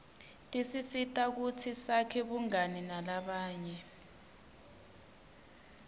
tisisita kutsi sakhe bungani nalabanye